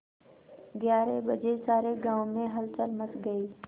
ग्यारह बजे सारे गाँव में हलचल मच गई